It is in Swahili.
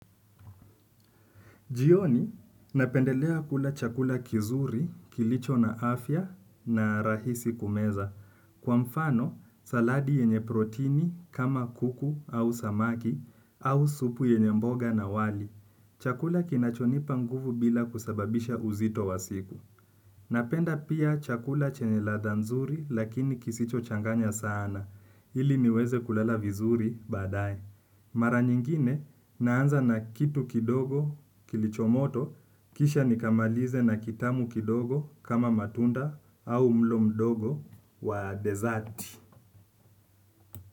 Jioni, napendelea kula chakula kizuri, kilicho na afya na rahisi kumeza. Kwa mfano, saladi yenye protini kama kuku au samaki au supu yenye mboga na wali. Chakula kinachonipa nguvu bila kusababisha uzito wa siku napenda pia chakula chenye ladha nzuri lakini kisicho changanya sana ili niweze kulala vizuri baadaye. Mara nyingine naanza na kitu kidogo kilichomoto kisha nikamalize na kitamu kidogo kama matunda au mlo mdogo wa desert.